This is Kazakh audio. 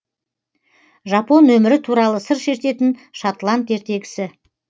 жапон өмірі туралы сыр шертетін шотланд ертегісі